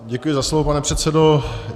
Děkuji za slovo, pane předsedo.